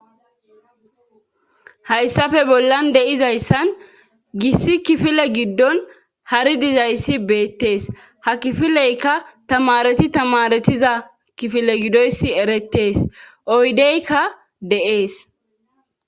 hayssafe bollan de'izayssan gissi kifile giddon hari dizayssi beettees ha kifileykka tamareti tamaretiza kifile giddoyssi eretees oydeykka de'ees